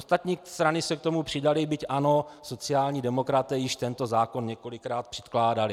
Ostatní strany se k tomu přidaly, byť ano, sociální demokraté již tento zákon několikrát předkládali.